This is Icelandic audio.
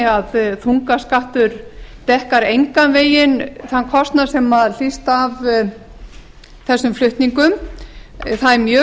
að þungaskattur dekkar engan veginn þann kostnað sem hlýst af þessum flutningum það